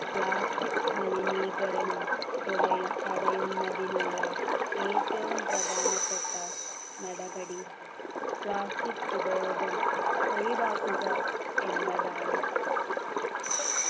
plastic മലിനീകരണം തുടയു തടയുന്നതിനുള്ള ഏറ്റവും പ്രധാനപ്പെട്ട നടപടി plastic ഉപയോഗം ഒഴിവാക്കുക എന്നതാണ്